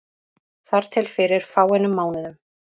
Þar til fyrir fáeinum mánuðum.